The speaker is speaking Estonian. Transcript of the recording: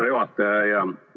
Hea juhataja!